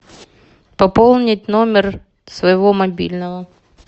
пополнить номер своего мобильного